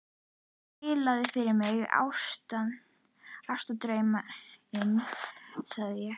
Spilaðu fyrr mig Ástardrauminn, sagði ég.